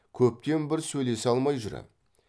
көптен бір сөйлесе алмай жүр ем